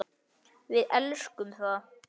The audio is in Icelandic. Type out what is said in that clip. Við elskum þig!